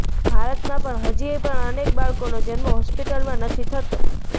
ભારતમાં પણ હજી પણ અનેક બાળકોનો જન્મ હોસ્પિટલમાં નથી થતો